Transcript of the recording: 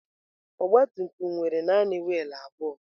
Ọgbatumtum nwere naanị wiil abụọ.